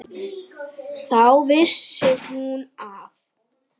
Þá vissi hún að